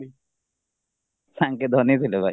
ଧନୀ ଥିଲେ ଭାଇ